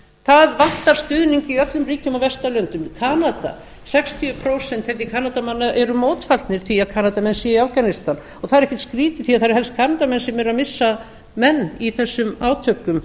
það vantar stuðning í öllum ríkjum á vesturlöndum kanada sextíu prósent kanadamanna eru mótfallnir því að kanadamenn séu í afganistan og það er ekkert skrýtið því að það eru helst kanadamenn sem eru missa menn í þessum átökum